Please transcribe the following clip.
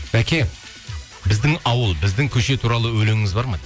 бәке біздің ауыл біздің көше туралы өлеңіңіз бар ма